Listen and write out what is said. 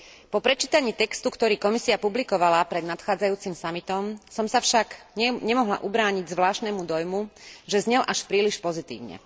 Po prečítaní textu, ktorý Komisia publikovala pred nadchádzajúcim samitom, som sa však nemohla ubrániť zvláštnemu dojmu, že znel až príliš pozitívne.